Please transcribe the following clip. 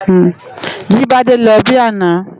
Jibade lò bi àná